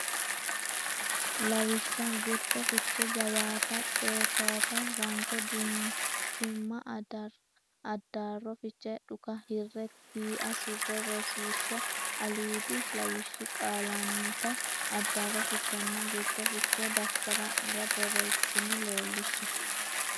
Lawishsha Gurcho fiche jawaata xefeefa ranke dunkimma Addaarro fiche dhuka hirre tiia surre Rosiishsha Aliidi lawishshi qaallannita addaarro fichenna gurcho fiche daftari nera borreessitine leellishshe.